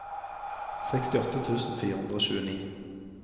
sekstiåtte tusen fire hundre og tjueni